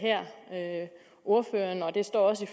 ordføreren og det står også i